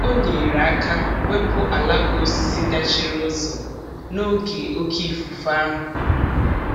O nyere aka wepụ alaka osisi dachiri ụzọ n'oge oke ifufe ahụ.